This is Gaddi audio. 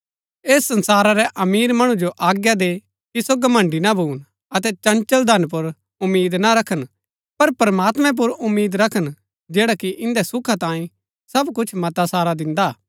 ऐस संसारा रै अमीर मणु जो आज्ञा दे कि सो घमण्‍ड़ी ना भून अतै चंचल धन पुर उम्मीद ना रखन पर प्रमात्मैं पुर उम्मीद रखन जैडा कि इन्दै सुखा तांई सब कुछ मता सारा दिन्दा हा